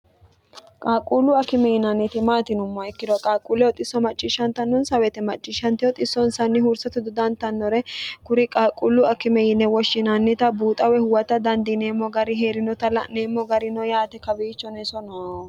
qaaqquullu akime yinanniti maatinumma ikkiro qaaquulleho xisso macciishshantannonsa wete macciishshante o xissonsanni hursatu dodantannore kuri qaaqquullu akime yine woshshinannita buuxawe huwata dandiineemmo gari hee'rinota la'neemmo garino yaate kawiicho neso no